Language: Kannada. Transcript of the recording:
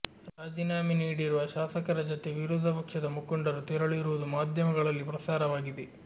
ರಾಜೀನಾಮೆ ನೀಡಿರುವ ಶಾಸಕರ ಜತೆ ವಿರೋಧ ಪಕ್ಷದ ಮುಖಂಡರು ತೆರಳಿರುವುದು ಮಾಧ್ಯಮಗಳಲ್ಲಿ ಪ್ರಸಾರವಾಗಿದೆ